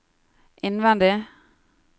innvendig